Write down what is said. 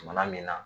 Jamana min na